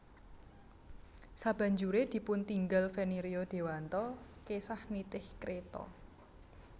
Sabanjure dipuntinggal Feni Rio Dewanto kesah nitih kreta